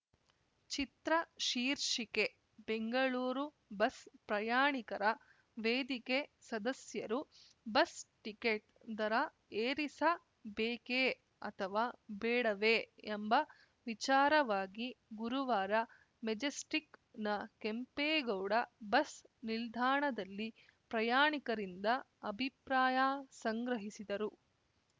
ಚಿತ್ರ ಶೀರ್ಷಿಕೆ ಬೆಂಗಳೂರು ಬಸ್‌ ಪ್ರಯಾಣಿಕರ ವೇದಿಕೆ ಸದಸ್ಯರು ಬಸ್‌ ಟಿಕೆಟ್‌ ದರ ಏರಿಸ ಬೇಕೇ ಅಥವಾ ಬೇಡವೇ ಎಂಬ ವಿಚಾರವಾಗಿ ಗುರುವಾರ ಮೆಜೆಸ್ಟಿಕ್‌ನ ಕೆಂಪೇಗೌಡ ಬಸ್‌ ನಿಲ್ದಾಣದಲ್ಲಿ ಪ್ರಯಾಣಿಕರಿಂದ ಅಭಿಪ್ರಾಯ ಸಂಗ್ರಹಿಸಿದರು